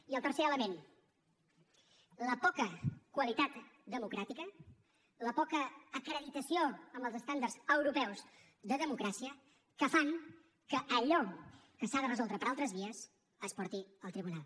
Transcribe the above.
i el tercer element la poca qualitat democràtica la poca acreditació amb els estàndards europeus de democràcia que fan que allò que s’ha de resoldre per altres vies es porti al tribunal